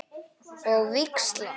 Og víxla?